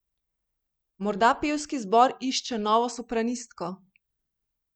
Morda pevski zbor išče novo sopranistko?